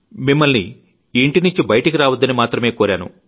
మిమ్మల్ని ఇంటి నుంచి బయటికి రావద్దని మాత్రమే కోరాను